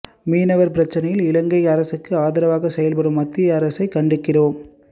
மீனவர் பிரச்னையில் இலங்கை அரசுக்கு ஆதரவாக செயல்படும் மத்திய அரசை கண்டிக்கிறோம்